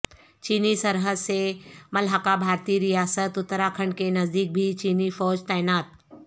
چینی سرحد سے ملحقہ بھارتی ریاست اترا کھنڈ کے نزدیک بھی چینی فوج تعینات